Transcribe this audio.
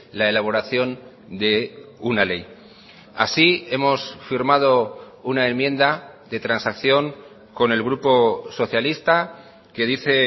la elaboración de una ley así hemos firmado una enmienda de transacción con el grupo socialista que dice